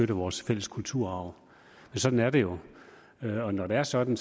vores fælles kulturarv sådan er det jo og når det er sådan